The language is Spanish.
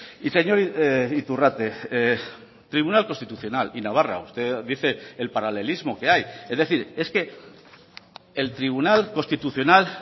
y señor iturrate tribunal constitucional y navarra usted dice el paralelismo que hay es decir es que el tribunal constitucional